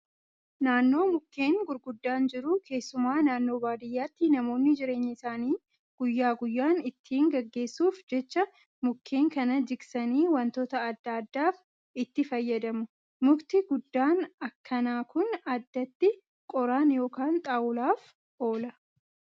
Naannoo mukkeen gurguddaan jiru keessumaa naannoo baadiyyaatti namoonni jireenya isaanii guyyaa guyyaan ittiin gaggeessuuf jecha mukkeen kana jigsanii wantoota adda addaaf itti fayyadamu. Mukti guddan akkanaa kun addatti qoraan yookaan xaawulaaf oola.